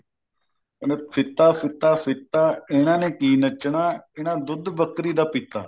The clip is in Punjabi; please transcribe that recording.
ਕਹਿੰਦੇ ਫੀਤਾ ਫੀਤਾ ਫੀਤਾ ਇਹਨਾ ਨੇ ਕੀ ਨੱਚਨਾ ਇਹਨਾਂ ਦੁੱਧ ਬਕਰੀ ਦਾ ਪੀਤਾ